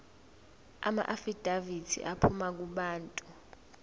amaafidavithi aphuma kubantu